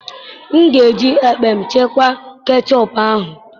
M ga eji ekpem chekwaa kechọpụ ahụ.